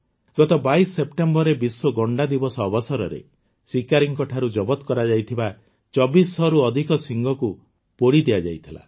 ଗତ ୨୨ ସେପ୍ଟେମ୍ବରରେ ବିଶ୍ୱ ଗଣ୍ଡା ଦିବସ ଅବସରରେ ଶିକାରୀଙ୍କଠାରୁ ଜବତ କରାଯାଇଥିବା ୨୪୦୦ରୁ ଅଧିକ ଶିଙ୍ଗକୁ ପୋଡ଼ି ଦିଆଯାଇଥିଲା